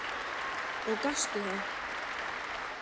Og gastu það?